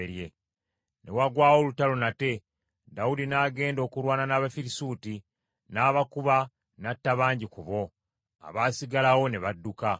Ne wagwawo olutalo nate, Dawudi n’agenda okulwana n’Abafirisuuti, n’abakuba n’atta bangi ku bo, abaasigalawo ne badduka.